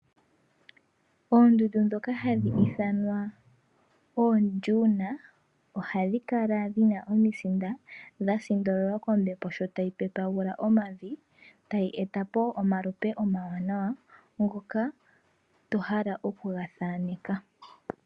Oondundu dhoka hadhi ithanwa oondjuna ohadhikala dhina omisinda dhasindololwa kombepo shotayi pepagula omavi, tayi eta po omalupe omawanawa ngoka tohala okugathaaneka.